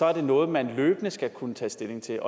er det noget man løbende skal kunne tage stilling til